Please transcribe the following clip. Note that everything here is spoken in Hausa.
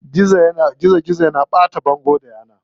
Gizo yana ɓata bangon da yana.